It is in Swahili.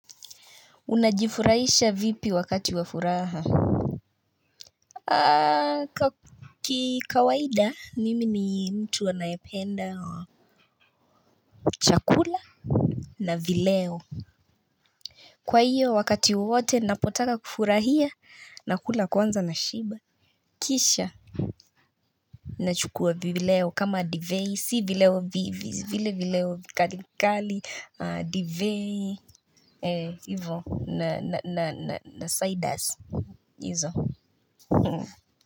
Unajifurahisha vipi wakati wa furaha Kikawaida mimi ni mtu anayependa chakula na vileo Kwa hiyo wakati wote napotaka kufurahia nakula kwanza nashiba Kisha Nachukua vileo kama divei si vileo vile vileo kakali divei Eee ivo na na na na ciders Izo.